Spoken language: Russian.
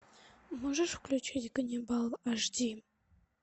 можешь включить ганнибал аш ди